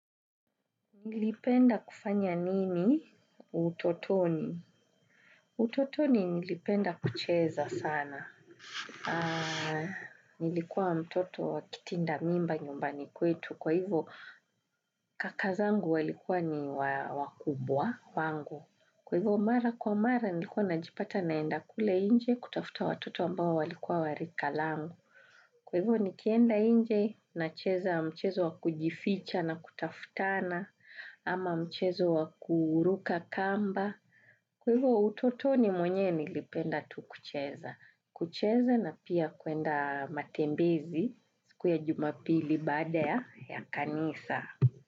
Nilipenda kufanya nini utototni? Utotoni nilipenda kucheza sana. Nilikuwa mtoto wa kitinda mimba nyumbani kwetu. Kwa hivo kaka zangu walikuwa ni wakubwa wangu. Kwa hivo mara kwa mara nilikuwa najipata naenda kule nje kutafuta watoto ambao walikua wa rika langu. Kwa hivo nikienda nje nacheza mchezo wa kujificha na kutafutana ama mchezo wa kuruka kamba. Kwa hivo utotoni mwenyewe nilipenda tu kucheza. Kucheza na pia kwenda matembezi siku ya jumapili baada ya kanisa.